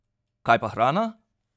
Kaj pa hrana?